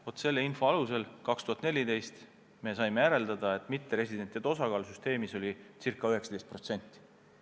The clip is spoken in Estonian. Vaat selle info alusel me saime 2014. aastal järeldada, et mitteresidentide osakaal süsteemis oli ca 19%.